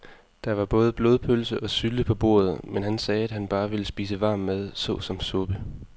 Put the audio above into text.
Der var både blodpølse og sylte på bordet, men han sagde, at han bare ville spise varm mad såsom suppe.